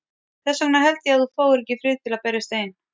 Þess vegna held ég að þú fáir ekki frið til að berjast ein.